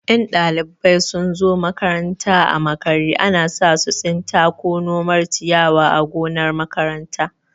In ɗalibai sun zo makaranta a makare, ana sa su tsinta ko nomar ciyawa a gonar makaranta.